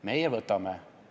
Meie võtame.